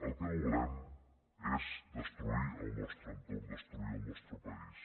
el que no volem és destruir el nostre entorn destruir el nostre país